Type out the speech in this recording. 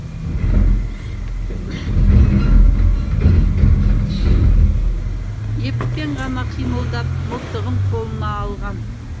еппен ғана қимылдап мылтығын қолына алған